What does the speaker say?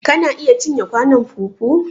Kana iya cinye kwanon fufu?